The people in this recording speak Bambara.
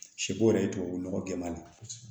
Sɛ bo yɛrɛ ye tubabu nɔgɔ jɛman ye